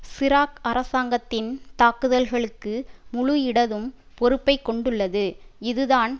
சிராக் அரசாங்கத்தின் தாக்குதல்களுக்கு முழு இடதும் பொறுப்பை கொண்டுள்ளது இதுதான்